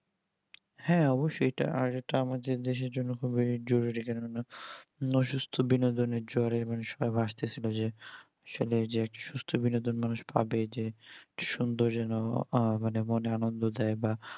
হ্যাঁ অবসই ইটা আমাদের দেশের জন্য খুব জরুরি অসুস্থ বিন্দোনের জ্বরে মানুষরা ভাসতেছে যে আসলে যে সুস্থ বিন্দদন মানুষ পাবে যে একটা সুন্দর জনক আহ মনে আনন্দ দেয়